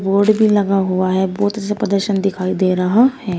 Board भी लगा हुआ है बहुत से प्रदर्शन दिखाई दे रहा है।